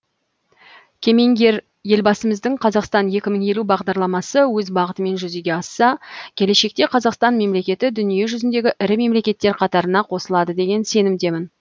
кемеңгер елбасымыздың қазақстан екі мың елу бағдарламасы өз бағытымен жүзеге асса келешекте қазақстан мемлекеті дүние жүзіндегі ірі мемлекеттер қатарына қосылады деген сенімдемін